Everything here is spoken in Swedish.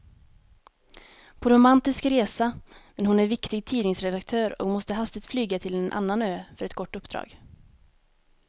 På romantisk resa, men hon är viktig tidningsredaktör och måste hastigt flyga till en annan ö för ett kort uppdrag.